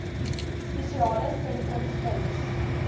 spesiale sentrums kuns